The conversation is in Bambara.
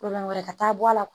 wɛrɛ ka taa bɔ a la